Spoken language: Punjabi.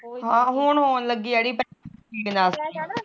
ਹਾ ਹੁਣ ਹੋਣ ਲੱਗੀ ਅੜੀ